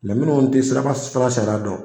Mɛ minnu te siraba fura sariya dɔn